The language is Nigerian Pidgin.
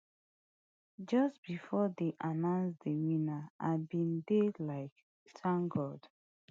just bifor dem announce di winner i bin dey like tank god